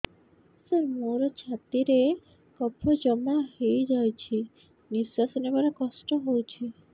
ସାର ମୋର ଛାତି ରେ କଫ ଜମା ହେଇଯାଇଛି ନିଶ୍ୱାସ ନେବାରେ କଷ୍ଟ ହଉଛି